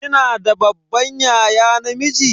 Kina da babban yaya namiji?